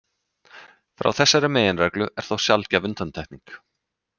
Frá þessari meginreglu er þó sjaldgæf undantekning.